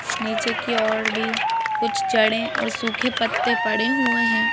नीचे की और भी कुछ चड़े और सूखे पत्ते पड़े हुए हैं।